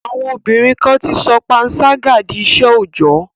À̀wọn obínrin kan ti sọ panṣágà di iṣẹ́ òòjọ́.